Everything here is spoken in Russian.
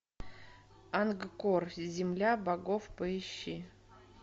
ангкор земля богов поищи